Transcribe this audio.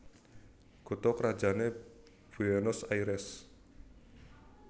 Kutha krajané Buénos Airès